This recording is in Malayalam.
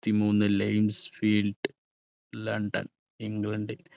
ത്തി മൂന്ന് ലയൺസ് ഫീൽഡ് ലണ്ടൻ ഇംഗ്ലണ്ട്.